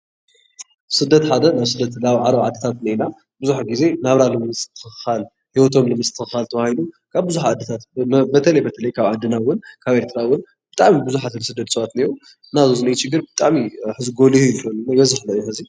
ስደት ሓደ ናብ ስደት ዓረብ ዓድታት እኒአውና ብዙሕ ግዜ ናብራ ንምስትክካል ሂዎቶም ንምሰትክካል ተባሂሉ ካበ ቡዝሓት ዓድታት በተለይ በተለይ ካብ ዓድና እወን ካብ ኤርትራ እውን ብጣዕሚ ብዙሓት ዝስደድ ሰባት እኒአው። እና እዚ ኣብዚ እኒአ ችግር ብጣዕሚ እዩ ሕዚ ጎሊሁ እዩ ዘሎ ብበዝሒ ለ እዩ ሕዚ።